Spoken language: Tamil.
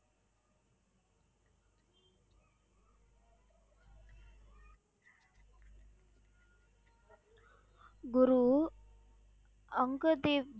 குரு அங்க தேவ்